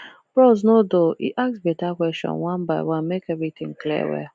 bros no dull e ask beta question one by one make everything clear well